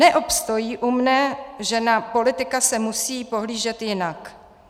Neobstojí u mne, že na politika se musí pohlížet jinak.